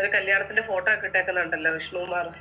ഒരു കല്യാണത്തിൻ്റെ photo ഒക്കെ ഇട്ടേക്കുന്നുണ്ടല്ലോ വിഷ്ണു കുമാറ്